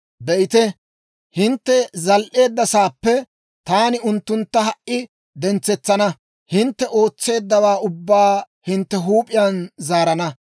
Be'ite, hintte zal"eedda sa'aappe taani unttuntta ha"i dentsetsana; hintte ootseeddawaa ubbaa hintte huup'iyaan zaarana.